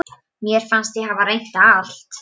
Mér fannst ég hafa reynt allt.